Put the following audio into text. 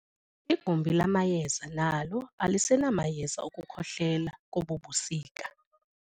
Igumbi lamayeza nalo alisenamayeza okukhohlela kobu busika.